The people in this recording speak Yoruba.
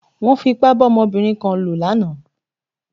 Wọ́n fi ipá bá ọmọbìnrin kan lò lánàá.